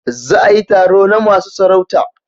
Za a yi taro na masu sarauta